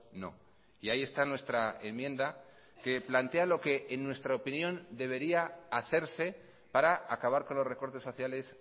no y ahí está nuestra enmienda que plantea lo que en nuestra opinión debería hacerse para acabar con los recortes sociales